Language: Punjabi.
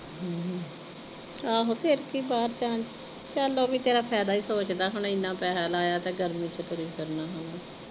ਆਹੋ ਫਿਰ ਕਿ ਬਾਹਰ ਜਾਣ ਚ ਚਲ ਉਹ ਵੀ ਤੇਰਾ ਫੈਦਾ ਹੀ ਸੋਚਦਾ ਹੁਣ ਇੰਨਾ ਪੈਸਾ ਲਾਇਆ ਤੇ ਗਰਮੀ ਚ ਤੁਰੀ ਫਿਰਣਾ ਹੁਣ।